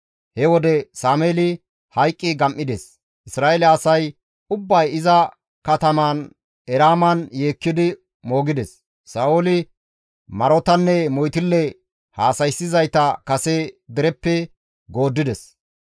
He wode Sameeli hayqqi gam7ides; Isra7eele asay ubbay iza katamaan Eraaman yeekkidi moogides; Sa7ooli marotanne moytille haasayssizayta kase dereppe gooddides.